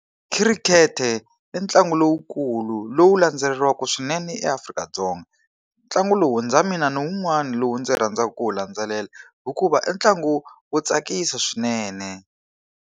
Khirikhete i ntlangu lowukulu lowu landzeleriwaka swinene eAfrika-Dzonga. Ntlangu lowu na mina ni wun'wana lo yi ndzi rhandzaka ku wu landzelela hikuva i ntlangu wo tsakisa swinene.